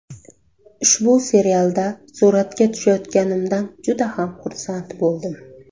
Ushbu serialda suratga tushayotganimdan juda ham xursand bo‘ldim.